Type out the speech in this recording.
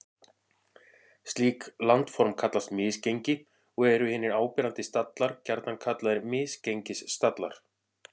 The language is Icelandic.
Slík landform kallast misgengi og eru hinir áberandi stallar gjarnan kallaðir misgengisstallar.